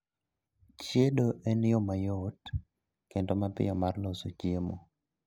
Chiedo en yoo mayot kendo mapiyo mar loso chiemo